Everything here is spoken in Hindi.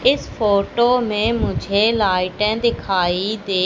इस फोटो में मुझे लाइटें दिखाई दे--